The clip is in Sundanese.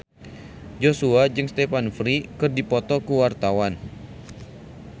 Joshua jeung Stephen Fry keur dipoto ku wartawan